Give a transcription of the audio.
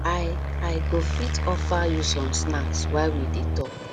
i i go fit offer you some snacks while we dey talk